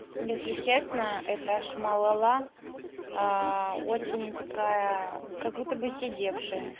если честно это шмалала очень такая как будто бы сидевшая